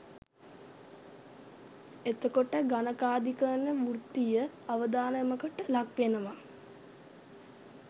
එතකොට ගණකාධිකරන වෘතිතිය අවධානමකට ලක්වෙනවා